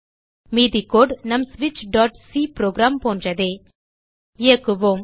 மீதி கோடு நம் switchசி புரோகிராம் போன்றதே இயக்குவோம்